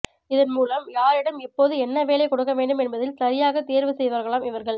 இதன் மூலம் யாரிடம் எப்போது என்ன வேலை கொடுக்க வேண்டும் என்பதில் சரியாக தேர்வு செய்வார்களாம் இவர்கள்